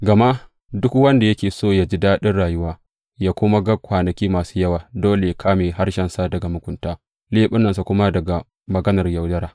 Gama, Duk wanda yake so yă ji daɗin rayuwa, yă kuma ga kwanaki masu kyau dole yă ƙame harshensa daga mugunta leɓunansa kuma daga maganar yaudara.